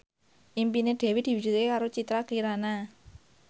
impine Dewi diwujudke karo Citra Kirana